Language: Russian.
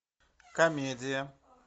комедия